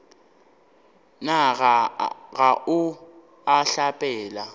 na ga o a hlapela